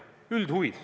Üldhuvid!